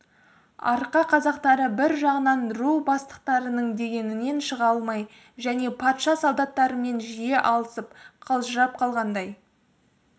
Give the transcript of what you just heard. арқа қазақтары бір жағынан ру бастықтарының дегенінен шыға алмай және патша солдаттарымен жиі алысып қалжырап қалғандай